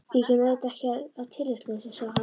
Ég kem auðvitað ekki að tilefnislausu, sagði hann.